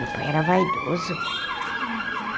Meu pai era vaidoso.